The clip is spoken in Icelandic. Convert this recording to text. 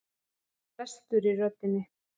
Það var brestur í röddinni.